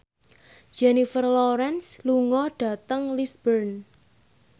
Jennifer Lawrence lunga dhateng Lisburn